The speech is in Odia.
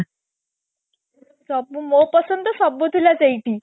ସବୁ ମୋ ପସନ୍ଦ ତ ସବୁ ଥିଲା ସେଇଠି